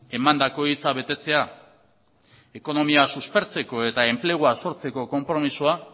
emandako hitza betetzea ekonomia suspertzeko eta enplegua sortzeko konpromisoa